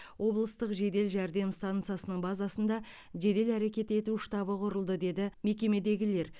облыстық жедел жәрдем стансасының базасында жедел әрекет ету штабы құрылды деді мекемедегілер